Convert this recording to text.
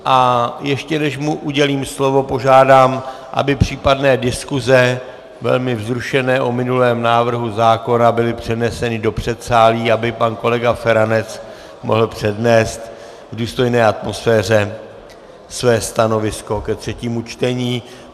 A ještě než mu udělím slovo, požádám, aby případné diskuse, velmi vzrušené, o minulém návrhu zákona, byly přeneseny do předsálí, aby pan kolega Feranec mohl přednést v důstojné atmosféře své stanovisko ke třetímu čtení.